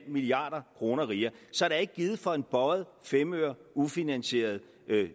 milliard kroner rigere så der er ikke givet for en bøjet femøre ufinansierede